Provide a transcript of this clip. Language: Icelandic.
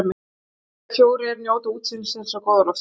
Þrír eða fjórir njóta útsýnisins og góða loftsins.